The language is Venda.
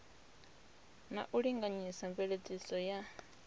na u linganyisa mveledziso ya